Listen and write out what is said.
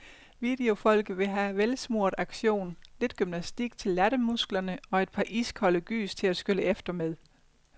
Videofolket vil have velsmurt action, lidt gymnastik til lattermusklerne og et par iskolde gys til at skylle efter med.